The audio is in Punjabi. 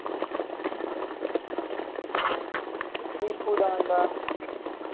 ਦੀਪੂ ਦਾ ਆਉਦਾ